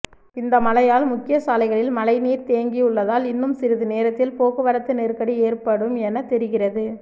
இந்த மழையால் முக்கிய சாலைகளில் மழைநீர் தேங்கியுள்ளதால் இன்னும் சிறிது நேரத்தில் போக்குவரத்து நெருக்கடி ஏற்படும் என தெரிகிறது